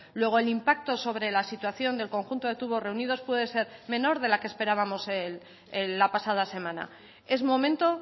luego el impacto sobre la situación del conjunto de tubos reunidos puede ser menor de la que esperábamos la pasada semana es momento